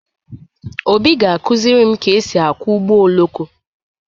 Obi ga-akụziri m ka e si akwọ ụgbọ oloko.